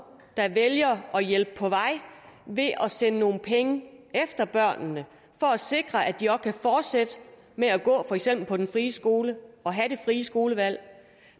der vælger at hjælpe dem på vej ved at sende nogle penge efter børnene for at sikre at de også kan fortsætte med at gå for eksempel på den frie skole og have det frie skolevalg